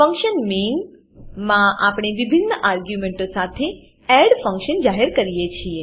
function main માં આપણે વિભિન્ન આર્ગ્યુંમેંટો સાથે એડ ફંક્શન જાહેર કરીએ છીએ